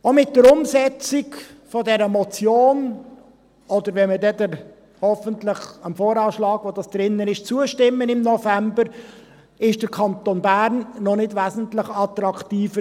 Auch mit der Umsetzung dieser Motion – oder wenn wir dann hoffentlich im November dem VA zustimmen – ist der Kanton Bern im Steuerrating noch nicht wesentlich attraktiver.